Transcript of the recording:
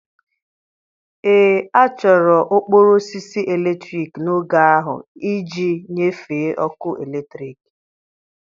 Ee, a chọrọ okporo osisi eletrik n'oge ahụ iji nyefee ọkụ eletrik.